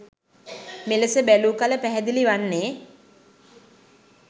මෙලෙස බැලූ කල පැහැදිලි වන්නේ